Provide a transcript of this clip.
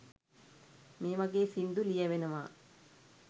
මේ වගේ සින්දු ලියැවෙනවා